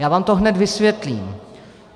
Já vám to hned vysvětlím.